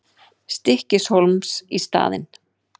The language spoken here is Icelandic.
Stykkishólms í staðinn.